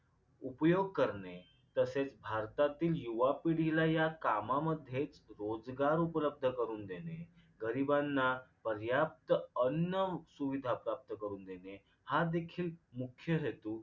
उपयोग करणे तसेच भारतातील युवा पिढीला या कामामध्ये रोजगार उपलब्ध करून देणे गरिबांना पर्याप्त अन्न सुविधा प्राप्त करून देणे हा देखील मुख्य हेतू